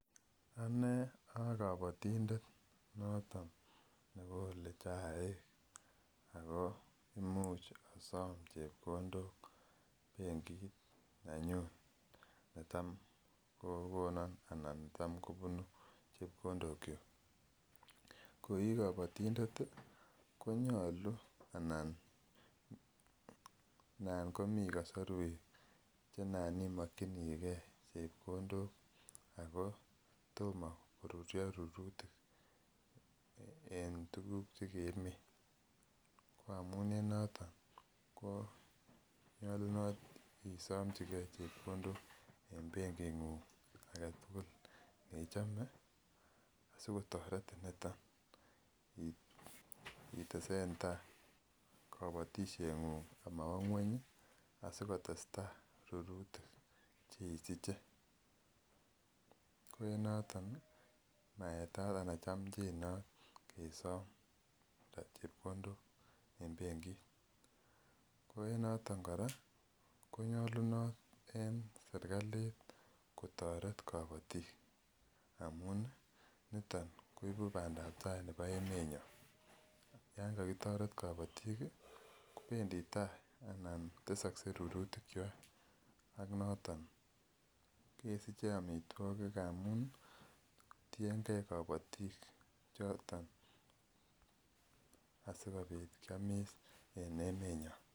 Ane aa kabatindet noto nekole chaik ako muuch asom chepkondok benkit nenyu netam kokonon anan netam kobunu chepkondok chu ko ii kabatindet konyolu anan nan komi kasarwek chenan imokchinigei chepkondok ako tomo korurio rurutik eng' tuguk chekikimin ko amun ninoto konyolunot isomjigei chepkondok eng' benging'ung' agetugul neichome sikotoret niton itesen tai kabatisheng'ung' amawa ng'weny asikotestai rurutik cheisiche ko en noto maetat anan chomcjinot kesom chepkondok eng' benkit ko en noto kora ko nyolunot en serikalit kotoret kabotik amun niton koibu bandaab tai nebo emenyo yon kakitoret kabatik kobendi tai anan tesakei rurutik chwai ak noton kesiche omitwokik amun tiengei kabotik choton asikobit kiomis eng' emenyo